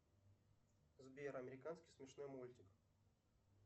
сбер американский смешной мультик